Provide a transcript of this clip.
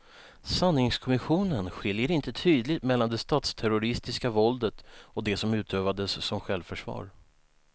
Sanningskommissionen skiljer inte tydligt mellan det statsterroristiska våldet och det som utövades som självförsvar.